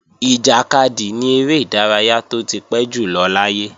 Ìjàkadì ni eré ìdárayá tó ti pẹ́ jùlọ láyé